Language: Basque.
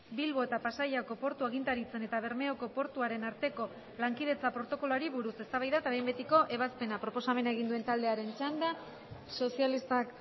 bilbo eta pasaiako portu agintaritzan eta bermeoko portuaren arteko lankidetza protokoloari buruz eztabaida eta behin betiko ebazpena proposamena egin duen taldearen txanda sozialistak